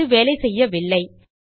அது வேலை செய்யவில்லை